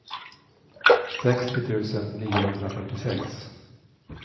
sextio tusen niohundrafyrtiosex